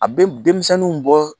A bɛ denmisɛniw bɔ